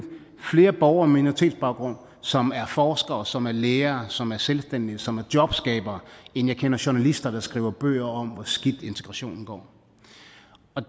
flere borgere med minoritetsbaggrund som er forskere som er læger som er selvstændige som er jobskabere end jeg kender journalister der skriver bøger om hvor skidt integrationen går